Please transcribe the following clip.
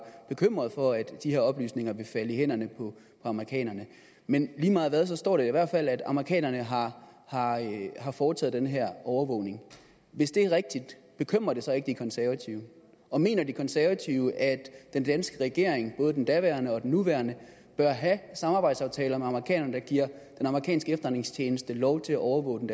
bekymret for at de her oplysninger ville falde i hænderne på amerikanerne men lige meget hvad står det i hvert fald klart at amerikanerne har har foretaget den her overvågning hvis det er rigtigt bekymrer det så ikke de konservative og mener de konservative at den danske regering både den daværende og den nuværende bør have samarbejdsaftaler med amerikanerne der giver den amerikanske efterretningstjeneste lov til at overvåge den